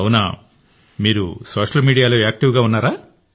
అవునా మీరు సోషల్ మీడియాలో యాక్టివ్గా ఉన్నారా